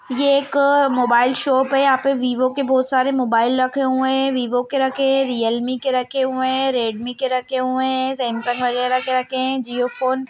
ये एक अ मोबाइल शॉप है। यहाँ पे वीवो के बहोत सारे मोबाइल रखे हुए हैं वीवो के रखे हैं रियलमी के रखे हुए हैं रेडमी के रखे हुए हैं सैमसंग वगेरा के रखे हुए हैं जिओ फ़ोन --